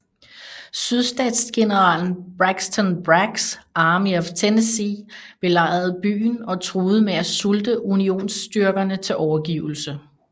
Sydstatsgeneralen Braxton Braggs Army of Tennessee belejrede byen og truede med at sulte unionsstyrkerne til overgivelse